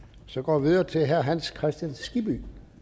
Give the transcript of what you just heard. så går vi videre til herre hans kristian skibby